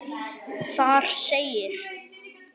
Þar segir: